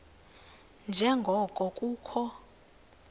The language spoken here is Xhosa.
nje ngoko kukho